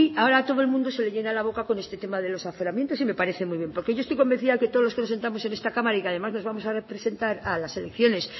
ahora todo el mundo se le llena la boca con este tema de los aforamientos y me parece muy bien porque yo estoy convencida de que todos los que sentamos en esta cámara y que además nos vamos a presentar a las elecciones